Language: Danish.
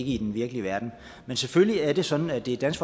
i den virkelige verden man selvfølgelig er det sådan at det er dansk